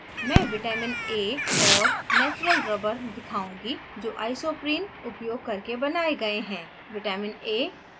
उदाहरण के लिए मैं vitamin a और natural rubber दिखाऊँगी जो isoprene उपयोग करके बनाये गए हैं